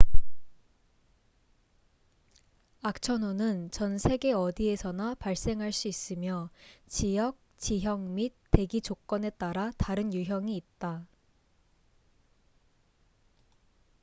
악천후는 전 세계 어디에서나 발생할 수 있으며 지역 지형 및 대기 조건에 따라 다른 유형이 있다